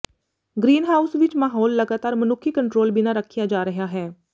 greenhouse ਵਿੱਚ ਮਾਹੌਲ ਲਗਾਤਾਰ ਮਨੁੱਖੀ ਕੰਟਰੋਲ ਬਿਨਾ ਰੱਖਿਆ ਜਾ ਰਿਹਾ ਹੈ